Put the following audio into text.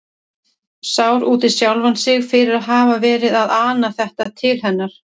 Sár út í sjálfan sig fyrir að hafa verið að ana þetta til hennar.